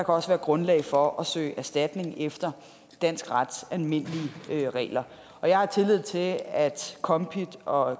også være grundlag for at søge erstatning efter dansk rets almindelige regler jeg har tillid til at kombit og